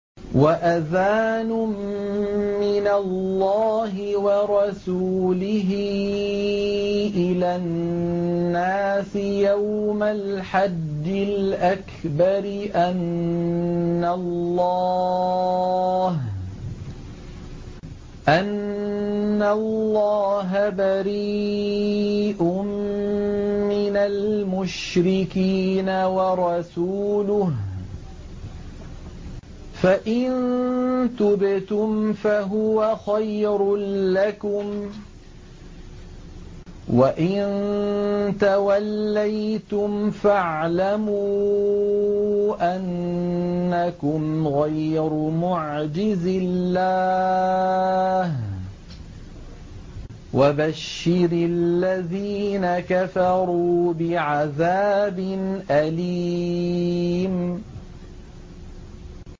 وَأَذَانٌ مِّنَ اللَّهِ وَرَسُولِهِ إِلَى النَّاسِ يَوْمَ الْحَجِّ الْأَكْبَرِ أَنَّ اللَّهَ بَرِيءٌ مِّنَ الْمُشْرِكِينَ ۙ وَرَسُولُهُ ۚ فَإِن تُبْتُمْ فَهُوَ خَيْرٌ لَّكُمْ ۖ وَإِن تَوَلَّيْتُمْ فَاعْلَمُوا أَنَّكُمْ غَيْرُ مُعْجِزِي اللَّهِ ۗ وَبَشِّرِ الَّذِينَ كَفَرُوا بِعَذَابٍ أَلِيمٍ